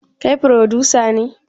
Kai frodusa ne?